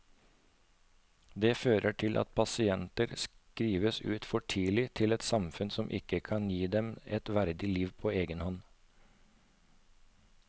Det fører til at pasienter skrives ut for tidlig til et samfunn som ikke kan gi dem et verdig liv på egen hånd.